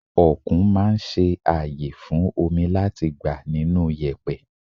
Okùn máa ń ṣe ààyè fún omi láti gbà nínú yèpẹ̀.